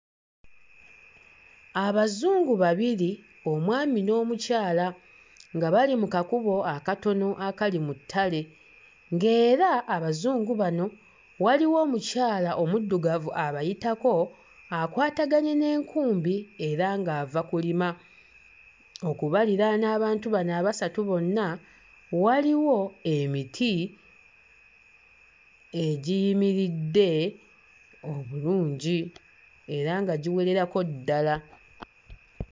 Abazungu babiri, omwami n'omukyala nga bali mu kakubo akatono akali mu ttale ng'era Abazungu bano waliwo omukyala omuddugavu abayitako akwataganye n'enkumbi era ng'ava kulima. Okubaliraana abantu bano abasatu bonna, waliwo emiti egiyimiridde obulungi era nga giwererako ddala.